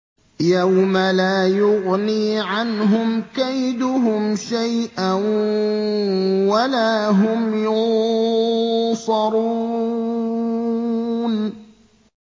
يَوْمَ لَا يُغْنِي عَنْهُمْ كَيْدُهُمْ شَيْئًا وَلَا هُمْ يُنصَرُونَ